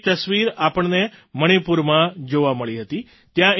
તેની એક તસવીર આપણને મણિપુરમાં જોવા મળી હતી